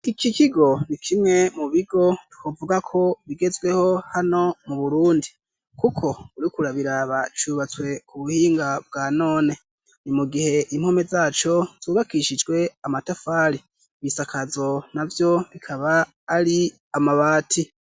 Iki kigo ni kimwe mu bigo twovuga ko bigezweho hano mu Burundi, kuko uriko urabiraba cubatswe ku buhinga bwa none, mu gihe impome zaco zubakishijwe amatafari ibisakazo navyo bikaba ari amabati.